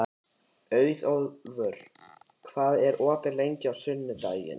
Auðólfur, hvað er opið lengi á sunnudaginn?